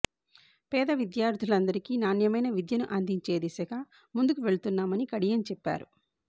పేద విద్యార్థులకు నాణ్యమైన విద్యను అందించే దిశగా ముందుకు వెళ్తున్నామని కడియం చెప్పారు